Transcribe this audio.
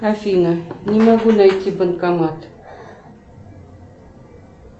афина не могу найти банкомат